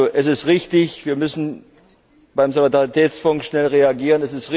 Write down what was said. Es ist richtig, wir müssen beim Solidaritätsfonds schnell reagieren.